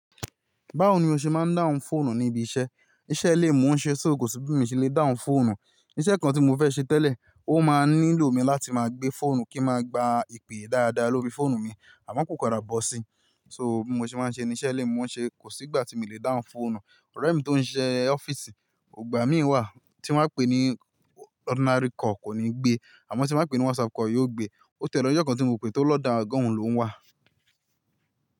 Báwo ni o ṣe máa ń dáhùn fóònù ní ibi iṣẹ́? Iṣẹ́ ilè mo n ṣẹ́ só kò sí bí mo ṣe le dáhùn fóònù. Iṣẹ́ kan tí mo fẹ́ ṣe tẹ́lẹ̀, ó máa nílò mi láti máa gbé fóònù kí n máa gba ìpè dáadáa lórí fóònù mi, àmọ́ kò padà bọ́ si. So mo ṣe máa ń ṣe ní iṣẹ́ lè mo ṣẹ́ kò sí ìgbà tí mo le dáhùn fóònù. Ore mi tó ń ṣe ọ́fíìsì, igbà mi wà tí wọ́n á pè ní ordinary call kò ní gbé. Àmọ́ tí n bá pè ní WhatsApp call, yóò gbé. Ó tẹ́ lọjọ́ kan tí mo pe tó lọ́dọ̀ oga oùn lóhùn wà.